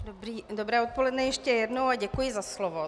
Dobré odpoledne ještě jednou a děkuji za slovo.